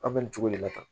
An bɛ nin cogo de la tan